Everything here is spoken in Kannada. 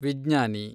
ವಿಜ್ಞಾನಿ